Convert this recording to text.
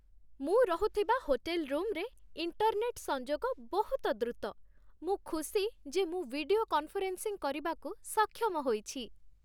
ମୁଁ ରହୁଥିବା ହୋଟେଲ ରୁମରେ ଇଣ୍ଟର୍‌ନେଟ୍ ସଂଯୋଗ ବହୁତ ଦ୍ରୁତ। ମୁଁ ଖୁସି ଯେ ମୁଁ ଭିଡିଓ କନଫରେନ୍ସିଂ କରିବାକୁ ସକ୍ଷମ ହୋଇଛି।